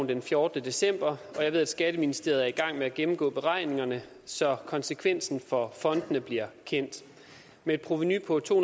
den fjortende december og jeg ved at skatteministeriet er i gang med at gennemgå beregningerne så konsekvensen for fondene bliver kendt med et provenu på to